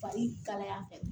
Fari kalaya fɛ